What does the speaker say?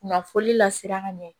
Kunnafoni lasiran ka ɲɛ